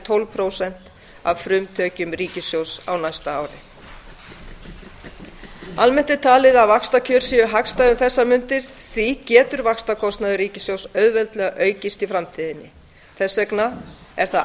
tólf prósent af frumtekjum ríkissjóðs á næsta ári almennt er talið að vaxtakjör séu hagstæð um þessar mundir því getur vaxtakostnaður ríkissjóðs auðveldlega aukist í framtíðinni þess vegna er